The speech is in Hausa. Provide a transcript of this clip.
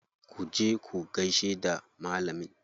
Ku je ku gaishe da malamin.